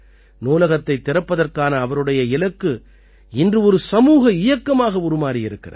நூலகத்தைத் திறப்பதற்கான அவருடைய இலக்கு இன்று ஒரு சமூக இயக்கமாக உருமாறி இருக்கிறது